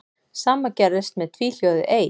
Sama gerðist með tvíhljóðið ey.